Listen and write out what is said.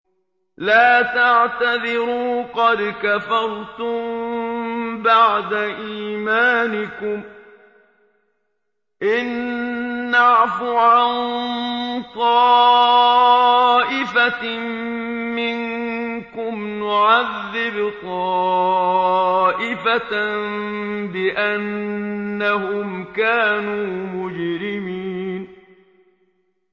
لَا تَعْتَذِرُوا قَدْ كَفَرْتُم بَعْدَ إِيمَانِكُمْ ۚ إِن نَّعْفُ عَن طَائِفَةٍ مِّنكُمْ نُعَذِّبْ طَائِفَةً بِأَنَّهُمْ كَانُوا مُجْرِمِينَ